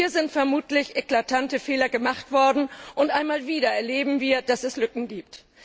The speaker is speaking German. Hier sind vermutlich eklatante Fehler gemacht worden, und einmal wieder erleben wir, dass es Lücken gibt.